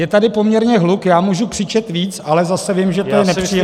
Je tady poměrně hluk, já můžu křičet víc, ale zase vím, že to je nepříjemné...